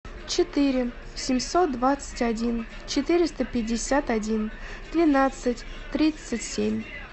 четыре семьсот двадцать один четыреста пятьдесят один двенадцать тридцать семь